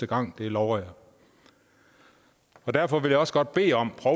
gang det lover jeg derfor vil jeg også godt bede om at